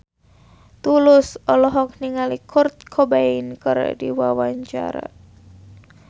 Tulus olohok ningali Kurt Cobain keur diwawancara